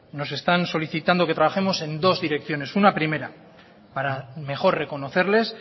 nos están solicitando que trabajemos en dos direcciones una primera para mejor reconocerles